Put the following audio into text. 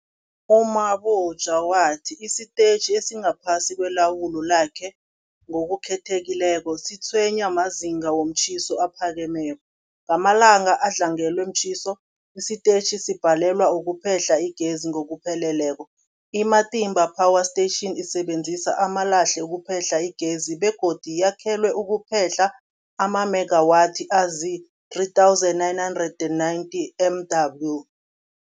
U-Mabotja wathi isitetjhi esingaphasi kwelawulo lakhe, ngokukhethekileko, sitshwenywa mazinga womtjhiso aphakemeko. Ngamalanga adlangelwe mtjhiso, isitetjhi sibhalelwa kuphehla igezi ngokupheleleko. I-Matimba Power Station isebenzisa amalahle ukuphehla igezi begodu yakhelwe ukuphehla amamegawathi azii-3990 MW.